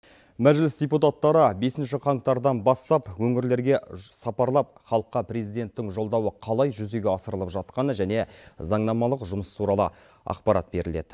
мәжіліс депутаттары бесінші қаңтардан бастап өңірлерге сапарлап халыққа президенттің жолдауы қалай жүзеге асырылып жатқаны және заңнамалық жұмыс туралы ақпарат беріледі